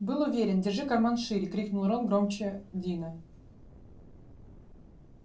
был уверен держи карман шире крикнул рон громче дина